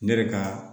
Ne yɛrɛ ka